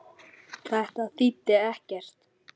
Þetta þýddi ekkert.